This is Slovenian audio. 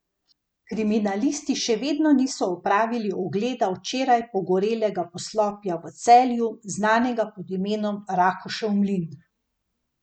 Kriminalisti še vedno niso opravili ogleda včeraj pogorelega poslopja v Celju, znanega pod imenom Rakušev mlin.